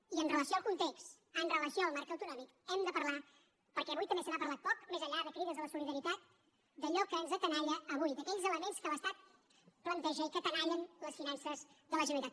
i amb relació al context amb relació al marc autonòmic hem de parlar perquè avui també se n’ha parlat poc més enllà de crides a la solidaritat d’allò que ens tenalla avui d’aquells elements que l’estat planteja i que tenallen les finances de la generalitat